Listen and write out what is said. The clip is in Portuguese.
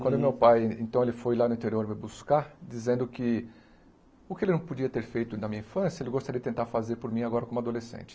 Quando meu pai, então, ele foi lá no interior me buscar, dizendo que o que ele não podia ter feito na minha infância, ele gostaria de tentar fazer por mim agora como adolescente.